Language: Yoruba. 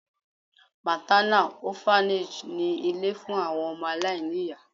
MÁTÁNÁ Ọ́FANÈG ni ilé fún àwọn ọmọ aláìní ìyá.